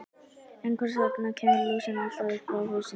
En hvers vegna kemur lúsin alltaf upp á haustin?